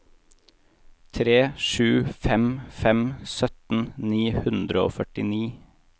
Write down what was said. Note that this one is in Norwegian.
tre sju fem fem sytten ni hundre og førtini